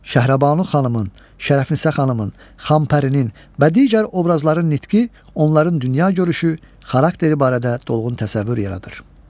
Şəhrabanu xanımın, Şərəfinisə xanımın, Xampərinin və digər obrazların nitqi onların dünya görüşü, xarakteri barədə dolğun təsəvvür yaradır.